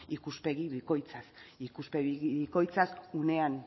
ikuspegi bikoitza ikuspegi bikoitzak unean